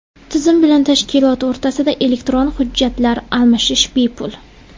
Tizim bilan tashkilot o‘rtasida elektron hujjatlar almashish bepul.